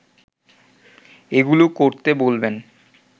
এগুলো করতে বলবেন